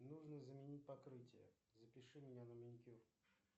нужно заменить покрытие запиши меня на маникюр